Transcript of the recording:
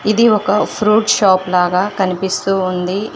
ఇది ఒక fruit shop లాగా కనిపిస్తూ ఉంది ఇ--